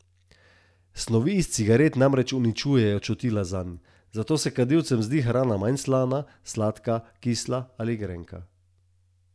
Snovi iz cigaret namreč uničujejo čutila zanj, zato se kadilcem zdi hrana manj slana, sladka, kisla ali grenka.